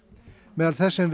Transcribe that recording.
meðal þess sem